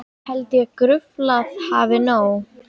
Held ég gruflað hafi nóg.